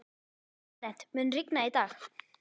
Arent, mun rigna í dag?